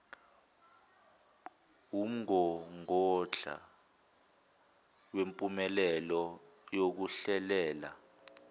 wumgogodla wempumelelo yokuhlelela